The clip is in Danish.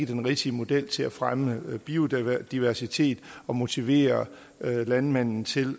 den rigtige model til at fremme biodiversitet og motivere landmændene til